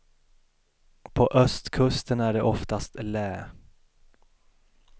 På östkusten är det oftast lä.